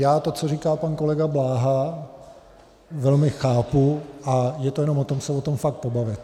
Já to, co říká pan kolega Bláha, velmi chápu a je to jenom o tom se o tom fakt pobavit.